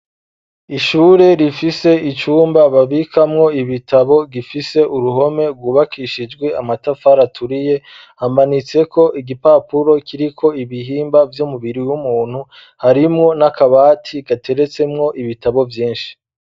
Ishure rifise icumba babikamwo ibitabo gifise uruhome rwubakishijwe amatafari turiye hamanitseko igipapuro kiriko ibihimba vy'umubiri w'umuntu harimwo n'akabati gateretsemwo ibitabo vyinshi.